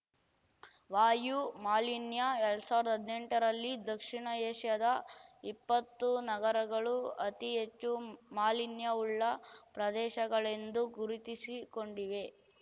ವಾಯು ಮಾಲಿನ್ಯ ಎರಡ್ ಸಾವಿರ್ದಾ ಹದ್ನೆಂಟರಲ್ಲಿ ದಕ್ಷಿಣ ಏಷ್ಯಾದ ಇಪ್ಪತ್ತು ನಗರಗಳು ಅತಿ ಹೆಚ್ಚು ಮಾಲಿನ್ಯವುಳ್ಳ ಪ್ರದೇಶಗಳೆಂದು ಗುರುತಿಸಿಕೊಂಡಿವೆ